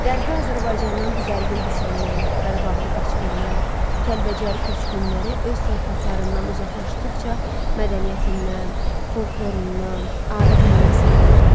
Qərbi Azərbaycandan didərgin düşənlər, Qarabağlı qaçqınlar, Kəlbəcər köçkünləri öz torpaqlarından uzaqlaşdıqca mədəniyyətindən, folklorundan, adət-ənənəsindən ayrılır.